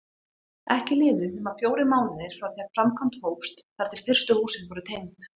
Ekki liðu nema fjórir mánuðir frá því framkvæmd hófst þar til fyrstu húsin voru tengd.